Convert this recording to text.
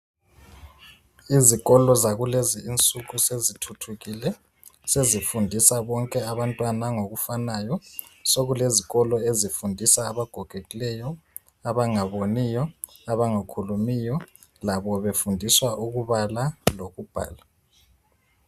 Izikolo zakulezi insuku sezithuthukile. Sezifundisa bonke abantwana ngokufanayo. Sokulezikolo ezifundisa abagogekileyo, abangaboniyo, abangakhulumiyo labo befundiswa ukubala lokubhala.